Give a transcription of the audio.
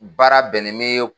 Baara bɛnnen mɛ